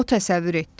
O təsəvvür etdi.